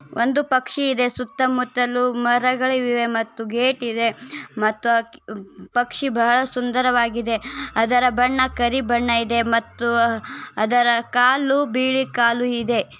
ಒಂದು ಪಕ್ಷಿ ಇದೆ ಸುತ್ತ ಮುತ್ತಲು ಮರಗಳಿವೆ ಮತ್ತು ಗೇಟ್ ಇದೆ ಮತ್ತು ಆ ಹಕ್ಕಿ ಅಹ್ ಪಕ್ಷಿ ಬಹಳ ಸುಂದರವಾಗಿದೆ ಅದರ ಬಣ್ಣ ಕರಿ ಬಣ್ಣ ಇದೆ ಮತ್ತು ಅದರ ಕಾಲು ಬಿಳಿ ಕಾಲು ಇದೆ.